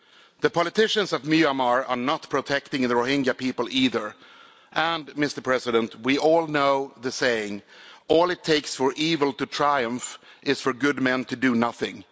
The politicians of Myanmar are not protecting the Rohingya people either. Mr President, we all know the saying, all it takes for evil to triumph is for good men to do nothing'.